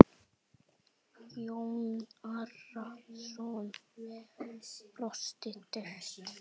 Jón Arason brosti dauft.